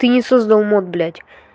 ты не создал мод блять